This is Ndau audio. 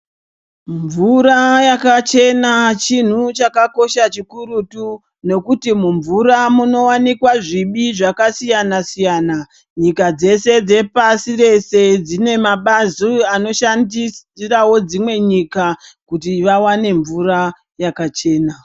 Mvura yakachena chinhu chakakosha chikurutu nokuti mumvura munowanikwa zvibi zvakasiyana siyana nyika dzese dzepasi rese dzine mabazi anoshandirawo dzimwe nyika kuti vawane mvura yakachena.